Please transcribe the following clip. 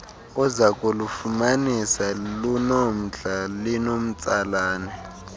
uzakulufumanisa lunomdla linomtsalane